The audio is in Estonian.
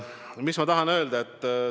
Mis ma tahan öelda?